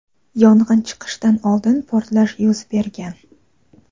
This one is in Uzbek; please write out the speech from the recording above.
yong‘in chiqishidan oldin portlash yuz bergan.